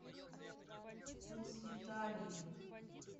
вкус италии